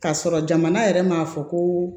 K'a sɔrɔ jamana yɛrɛ m'a fɔ ko